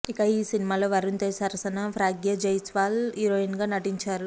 ఇక ఈ సినిమాలో వరుణ్ తేజ్ సరసన ప్రగ్యా జైస్వాల్ హీరోయిన్గా నటించారు